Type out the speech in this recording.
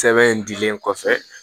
Sɛbɛn in dilen kɔfɛ